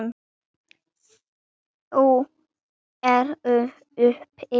Þau eru uppi.